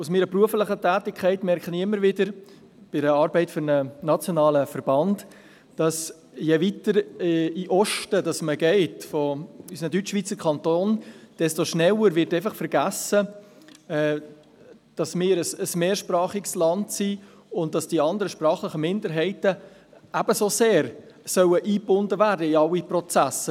Durch meine berufliche Tätigkeit im Rahmen der Arbeit für einen nationalen Verband stelle ich immer wieder fest, dass je weiter in den Osten unserer Deutschschweizer Kantone man geht, desto schneller vergessen geht, dass wir ein mehrsprachiges Land sind, und die sprachlichen Minderheiten ebenso sehr in alle Prozesse eingebunden werden sollen.